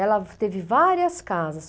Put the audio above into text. Ela teve várias casas.